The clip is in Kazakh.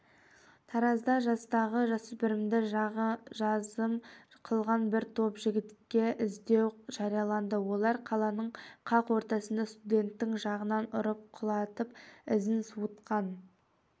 таразда жастағы жасөспірімді жазым қылған бір топ жігітке іздеу жарияланды олар қаланың қақ ортасында студенттің жағынан ұрып құлатып ізін суытқан